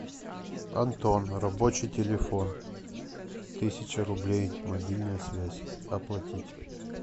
антон рабочий телефон тысяча рублей мобильная связь оплатить